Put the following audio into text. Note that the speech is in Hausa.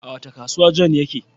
A wace kasuwa John yake?